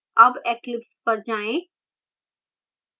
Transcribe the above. अब eclipse पर जाएँ